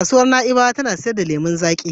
Kasuwar Na'ibawa ta na sayar da lemon zaƙi.